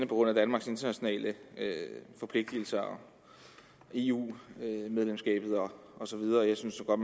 grund af danmarks internationale forpligtelser eu medlemskabet og så videre jeg synes godt